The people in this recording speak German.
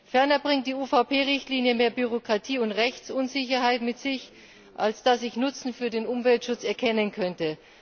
Ferner bringt die UVP Richtlinie mehr Bürokratie und Rechtsunsicherheit mit sich, als dass ich Nutzen für den Umweltschutz erkennen könnte.